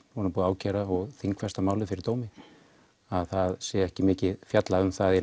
búið að ákæra og þingfesta málið fyrir dómi að það sé ekki mikið fjallað um það á